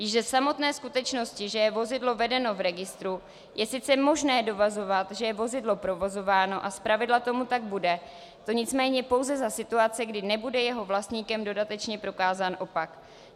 Již ze samotné skutečnosti, že je vozidlo vedeno v registru, je sice možné dovozovat, že je vozidlo provozováno, a zpravidla tomu tak bude, to nicméně pouze za situace, kdy nebude jeho vlastníkem dodatečně prokázán opak.